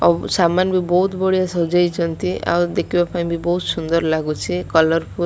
ଓ ସାମାନ୍ ବି ବୋହୁତ ବଢିଆ ସାଜେଇଛନ୍ତି ଆଉ ଦେଖିବାକୁ ବୋହୁତ ସୁନ୍ଦର୍ ଲାଗୁଚି କଲର --